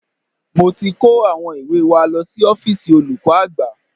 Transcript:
Mo ti kó àwọn ìwé wa lọ sí ọ́fíìsì olùkọ́ àgbà